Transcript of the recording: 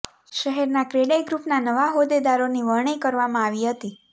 શહેરના ક્રેડાય ગ્રુપના નવા હોદેદારોની વરણી કરવામાં આવી હતી